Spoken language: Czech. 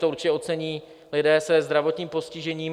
To určitě ocení lidé se zdravotním postižením.